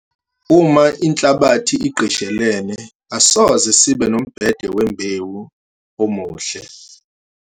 Uma inhlabathi igqishelene asoze sibe nombhede wembewu omuhle.